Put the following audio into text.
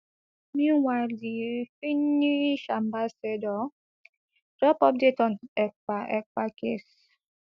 meanwhile di finnish ambassador drop update on ekpa ekpa case